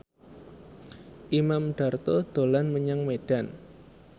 Imam Darto dolan menyang Medan